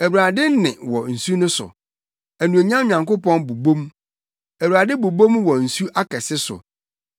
Awurade nne wɔ nsu no so; anuonyam Nyankopɔn bobɔ mu, Awurade bobɔ mu wɔ nsu akɛse so.